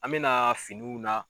An be na finiw na